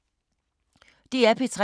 DR P3